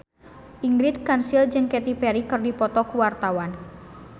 Ingrid Kansil jeung Katy Perry keur dipoto ku wartawan